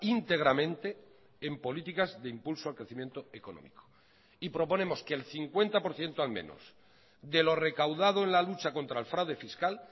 íntegramente en políticas de impulso a crecimiento económico y proponemos que el cincuenta por ciento al menos de lo recaudado en la lucha contra el fraude fiscal